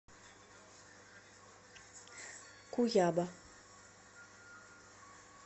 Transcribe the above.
куяба